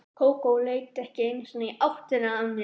Kókó leit ekki einu sinni í áttina að mér.